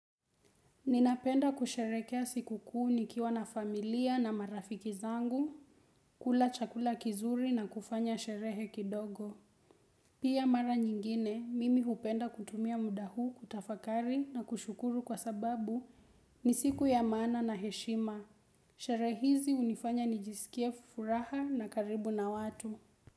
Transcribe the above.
Ninapenda kusherekea siku kuu nikiwa na familia na marafiki zangu, kula chakula kizuri na kufanya sherehe kidogo. Pia mara nyingine, mimi hupenda kutumia muda hu kutafakari na kushukuru kwa sababu ni siku ya maana na heshima. Shere hizi hunifanya nijisikie furaha na karibu na watu.